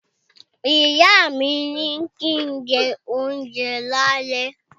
Ìyá mi ní kín jẹ́ ohunjẹ lálé